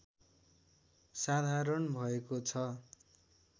साधारण भएको छ